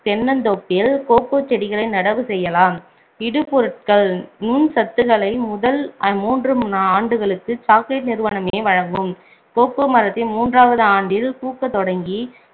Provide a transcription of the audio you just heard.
தென்னந்தோப்பில் cocoa செடிகளை நடவு செய்யலாம் இடுபொருட்கள் நுண்சத்துகளை முதல் மூன்று ஆண்டுகளுக்கு chocolate நிறுவனமே வழங்கும் கோகோ மரத்தின் மூன்றாவது ஆண்டில் பூக்கத் தொடங்கி